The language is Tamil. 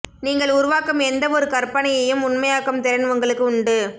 நீங்கள் உருவாக்கும் எந்த ஒரு கற்பனையையும் உண்மையாக்கும் திறன் உங்களுக்கு உண்டு